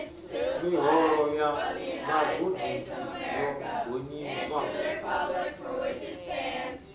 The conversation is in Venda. miholo ya vhagudisi yo gonyiswa